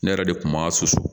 Ne yɛrɛ de kun b'a susu